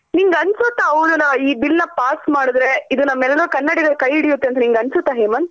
ನಿಂಗ್ ಅನ್ಸುತ್ತಾ ಅವರ್ನ ಈ bill ನಾ pass ಮಾಡ್ದ್ರೆ ಇದು ನಮ್ ಎಲರ್ ಕನ್ನಡಿಗರ್ ಕೈ ಹಿಡಿಯುತ್ತ್ ಅಂತ ನಿಂಗ್ ಅನ್ಸುತ್ತಾ ಹೇಮಂತ್.